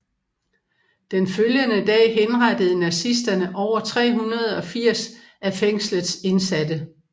Den følgende dag henrettede nazisterne over 380 af fængslets indsatte